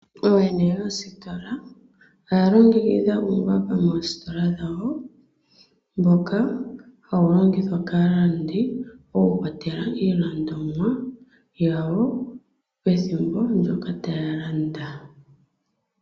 Ooyene yoongeshefa dhiikulya oya longekitha uumbamba moositola dhawo. Ohawu longithwa kaalandi opo ya vule okutula mo iilandomwa yawo pethimbo ndyoka taya landa